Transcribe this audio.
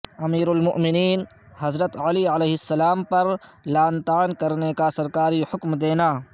امیرالمومنین حضرت علی علیہ السلام پر لعن طعن کرنے کا سرکاری حکم دینا